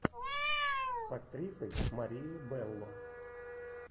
с актрисой марией белло